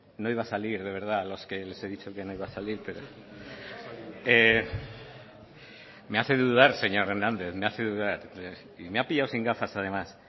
no iba a salir de verdad a los que les he dicho que no iba a salir pero me hace dudar señor hernández me hace dudar y me ha pillado sin gafas además